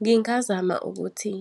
Ngingazama ukuthi